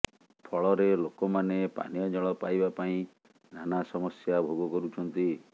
ଫଳରେ ଲୋକମାନେ ପାନୀୟ ଜଳ ପାଇବା ପାଇଁ ନାନା ସମସ୍ୟା ଭୋଗ କରୁଛନ୍ତି